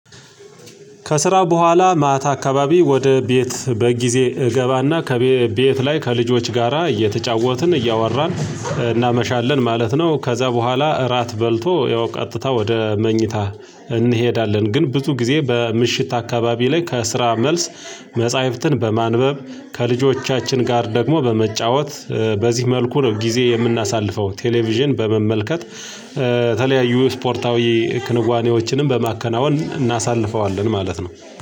ከስራ በኋላ ማታ አካባቢ ወደ ቤት በጊዜ እገባና ከቤ ከቤት ላይ ከልጆች ጋራ እየተጫወትን እያወራን እናመሻለን ማለት ነው ከዛ በኋላ እራት በልቶ ያው ቀጥታ ወደ መኝታ እንሄዳለን። ግን ብዙ ጊዜ በምሽት አካባቢ ላይ ከስራ መልስ መጽሐፍትን በማንበብ ከልጆቻችን ጋር ደግሞ በመጫወት በዚህ መልኩ ነው ጊዜ የምናሳልፈው። ቴሌቪዥን በመመልከት የተለያዩ ስፖርታዊ ክንዋኔዎችንም በማከናወን እናሳልፈዋለን ማለት ነው